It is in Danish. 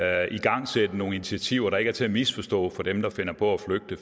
at igangsætte nogle initiativer der ikke er til at misforstå for dem der finder på at flygte